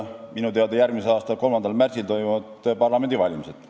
Minu teada toimuvad järgmise aasta 3. märtsil parlamendivalimised.